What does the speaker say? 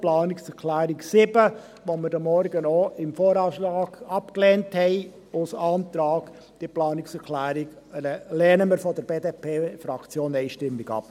Die Planungserklärung 7, die wir heute Morgen beim VA als Antrag abgelehnt haben, lehnen wir von der BDP-Fraktion einstimmig ab.